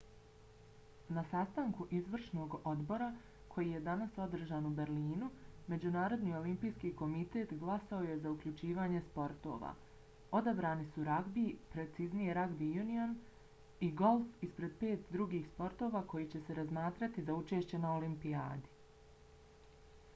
na sastanku izvršnog odbora koji je danas održan u berlinu međunarodni olimpijski komitet glasao je za uključivanje sportova. odabrani su ragbi preciznije rugby union i golf ispred pet drugih sportova koji će se razmatrati za učešće na olimpijadi